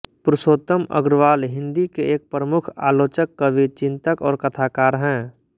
पुरुषोत्तम अग्रवाल हिंदी के एक प्रमुख आलोचक कवि चिन्तक और कथाकार हैं